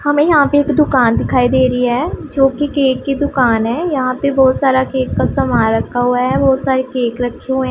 हमें यहां पे एक दुकान दिखाई दे रही है जोकि केक की दुकान है यहां पे बहुत सारा केक का सामान रखा हुआ है बहुत सारी केक रखी हु--